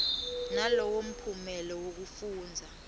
nalowo mphumela wekufundza